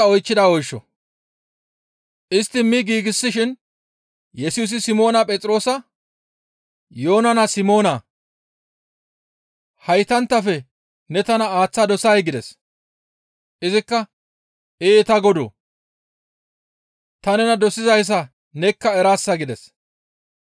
Istti mi giigshin Yesusi Simoona Phexroosa, «Yoona naa Simoonaa! Haytanttafe ne tana aaththa dosay?» gides. Izikka, «Ee ta Godoo! Ta nena dosizayssa nekka eraasa» gides.